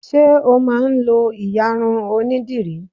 Ṣé o máa ń lọ ìyarun onídìrí?